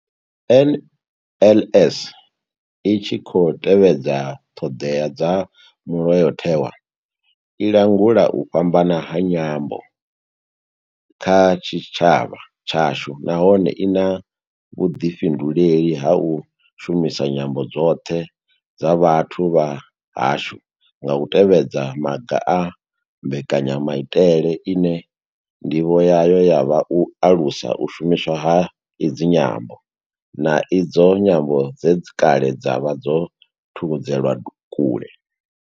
NLS I tshi khou tevhedza ṱhodea dza Mulayo tewa, i langula u fhambana ha nyambo kha tshitshavha tshashu nahone I na vhuḓifhinduleli ha u shumisa nyambo dzoṱhe dza vhathu vha hashu nga u tevhedza maga a mbekanya maitele ine ndivho yayo ya vha u alusa u shumiswa ha idzi nyambo, na idzo nyambo dze kale dza vha dzo thudzelwa kule.